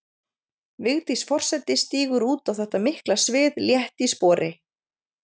Vigdís forseti stígur út á þetta mikla svið létt í spori.